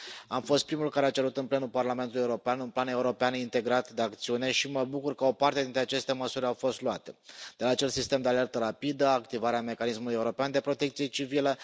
Am fost primul care a cerut în plenul Parlamentului European un plan european integrat de acțiune și mă bucur că o parte dintre aceste măsuri au fost luate, acest sistem de alertă rapidă, activarea mecanismului european de protecție civilă.